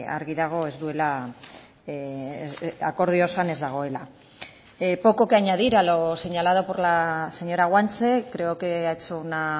argi dago ez duela akordio osoan ez dagoela poco que añadir a lo señalado por la señora guanche creo que ha hecho una